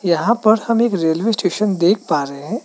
यहां पर हम एक रेलवे स्टेशन देख पा रहे हैं।